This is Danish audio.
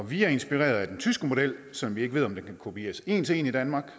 vi er inspireret af den tyske model som vi ikke ved om kan kopieres en til en i danmark